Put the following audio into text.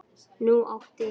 Nú átti